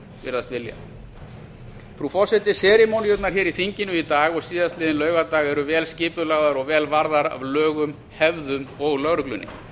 virðast vilja frú forseti serimóníurnar í þinginu í dag og síðastliðinn laugardag eru vel skipulagðar og vel varðar af lögum hefðum og lögreglunni